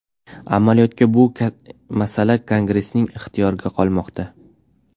Amaliyotda bu masala Kongressning ixtiyorida qolmoqda.